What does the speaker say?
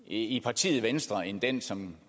i partiet venstre end den som